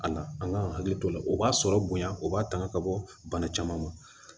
A na an ka hakili to o la o b'a sɔrɔ bonya o b'a tanga ka bɔ bana caman ma